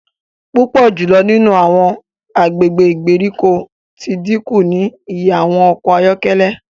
Pupọ julọ nínú awọn agbègbè ìgbèríko ti dínkù ní ìyè awọn ọkọ ayọkẹlẹ